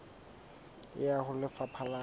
e ya ho lefapha la